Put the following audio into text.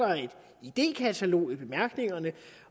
idékatalog i bemærkningerne